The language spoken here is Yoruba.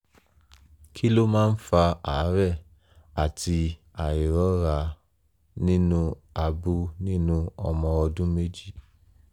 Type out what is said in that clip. kí ló máa ń fa àárẹ̀ àti àìrọ́ra nínú abú nínú ọmọ ọdún méjì?